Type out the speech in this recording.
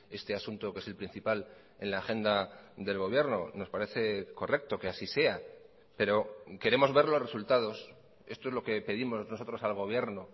este asunto que es el principal en la agenda del gobierno nos parece correcto que así sea pero queremos ver los resultados esto es lo que pedimos nosotros al gobierno